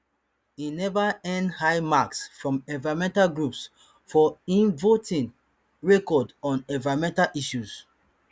e never earn high marks from environmental groups for im voting record on environmental issues